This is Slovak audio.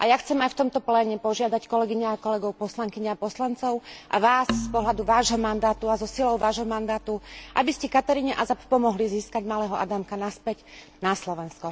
A ja chcem aj v tomto pléne požiadať kolegyne a kolegov, poslankyne a poslancov, a Vás, z pohľadu Vášho mandátu a so silou Vášho mandátu, aby ste Kataríne Azab pomohli získať malého Adamka naspäť na Slovensko.